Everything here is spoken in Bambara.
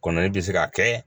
Kɔnɔnin bɛ se ka kɛ